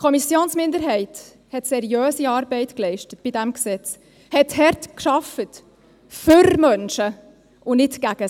Die Kommissionsminderheit leistete seriöse Arbeit bei diesem Gesetz, arbeitete hart für Menschen und nicht gegen diese.